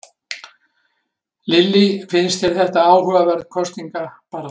Lillý: Finnst þér þetta áhugaverð kosningabarátta?